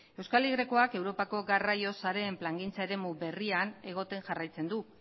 euskal y ak europako garraio sareen plangintzaren eremu berrian egoten jarraitzen du